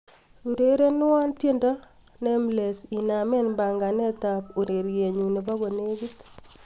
urerenwon tyendo nameless inamen panganet ab ureryenyun nebo konegit